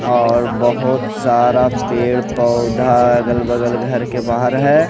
और बहोत सारा पेड़ पौधा अगल बगल घर के बाहर है।